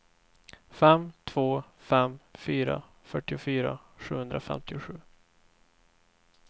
fem två fem fyra fyrtiofyra sjuhundrafemtiosju